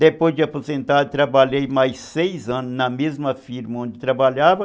Depois de aposentar, trabalhei mais seis anos na mesma firma onde trabalhava.